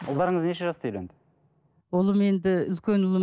ұлдарыңыз неше жаста үйленді ұлым енді үлкен ұлым